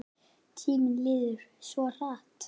Tíminn líður svo hratt!